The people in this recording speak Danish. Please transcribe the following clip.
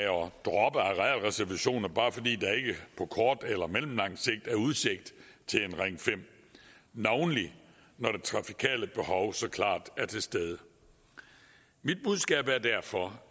droppe arealreservationer bare fordi der ikke på kort eller mellemlang sigt er udsigt til en ring fem navnlig når det trafikale behov så klart er til stede mit budskab er derfor